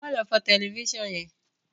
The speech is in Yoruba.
ma lo fọ Tẹlifísàn yén!